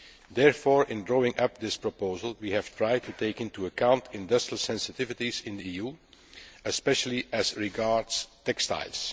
Therefore, in drawing up this proposal, we have tried to take into account industrial sensitivities in the EU, especially as regards textiles.